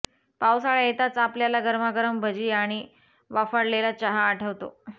पावसाळा येताच आपल्याला गरमागरम भजी आणि वाफाळलेला चहा आठवतो